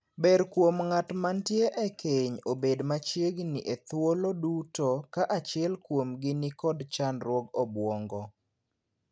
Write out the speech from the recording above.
Ber kuom ng'at matie e keny obed machiegni e thuolo duto ka achiel kuomgi ni kod chandruog obuongo.